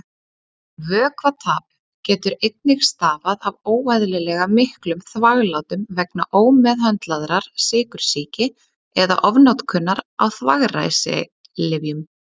Vökvatap getur einnig stafað af óeðlilega miklum þvaglátum vegna ómeðhöndlaðrar sykursýki eða ofnotkunar á þvagræsilyfjum.